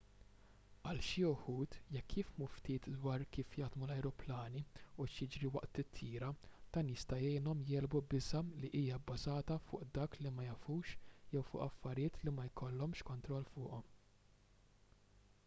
għal xi wħud jekk jifhmu ftit dwar kif jaħdmu l-ajruplani u x'jiġri waqt titjira dan jista' jgħinhom jegħlbu biża' li hija bbażata fuq dak li ma jafux jew fuq affarijiet li ma jkollhomx kontroll fuqhom